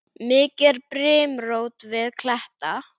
Mikið er brimrót við kletta.